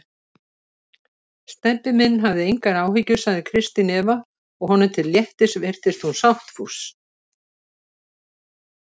Stebbi minn, hafði engar áhyggjur sagði Kristín Eva og honum til léttis virtist hún sáttfús.